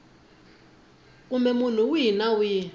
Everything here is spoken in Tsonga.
kumbe munhu wihi na wihi